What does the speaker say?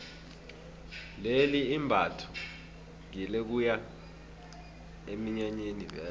leli imbatho ngelokuya eminyanyeni vele